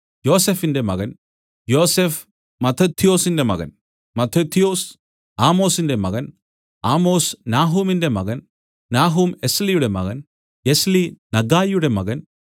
യോസഫിന്റെ മകൻ യോസഫ് മത്തഥ്യൊസിന്റെ മകൻ മത്തഥ്യൊസ് ആമോസിന്റെ മകൻ ആമോസ് നാഹൂമിന്റെ മകൻ നാഹൂം എസ്ളിയുടെ മകൻ എസ്ളി നഗ്ഗായിയുടെ മകൻ